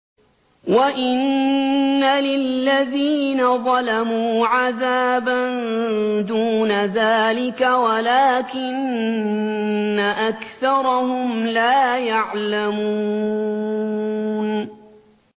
وَإِنَّ لِلَّذِينَ ظَلَمُوا عَذَابًا دُونَ ذَٰلِكَ وَلَٰكِنَّ أَكْثَرَهُمْ لَا يَعْلَمُونَ